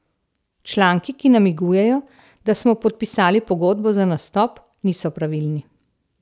Članki, ki namigujejo, da smo podpisali pogodbo za nastop, niso pravilni.